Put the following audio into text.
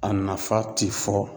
A nafa ti fɔ